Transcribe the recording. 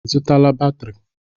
Ị zụtala batrị?